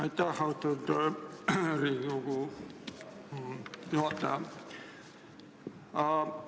Aitäh, austatud Riigikogu juhataja!